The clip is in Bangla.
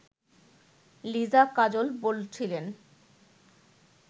লিজা কাজল বলছিলেন